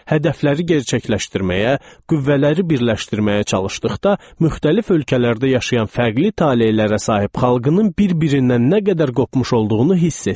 Hədəfləri gerçəkləşdirməyə, qüvvələri birləşdirməyə çalışdıqda müxtəlif ölkələrdə yaşayan fərqli talelərə sahib xalqının bir-birindən nə qədər qopmuş olduğunu hiss etdi.